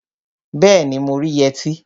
Bẹẹni, mo rí yẹtí